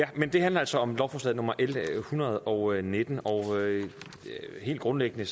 men det handler altså om lovforslag nummer l en hundrede og nitten og helt grundlæggende